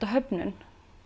höfnun